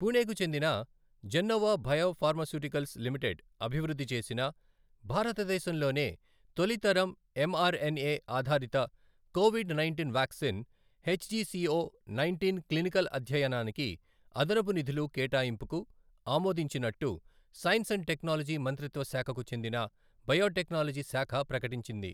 పూణెకు చెందిన Gennova biopharmaceuticals limited అభివృద్ధి చేసిన భారతదేశంలోనే తొలి తరం ఎంఆర్ ఎన్ఎ ఆధారిత covid nineteen vaccine HGCO nineteen clinical అధ్యయనానికి అదనపు నిధులు కేటాయింపుకు ఆమోదించినట్టు సైన్స్ అండ్ టెక్నాలజీ మంత్రిత్వ శాఖకు చెందిన బయోటెక్నాలజీ శాఖ ప్రకటించింది.